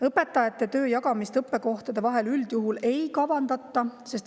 Õpetajate töö jagamist õppekohtade vahel üldjuhul ei kavandata.